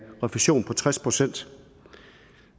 refusion på tres procent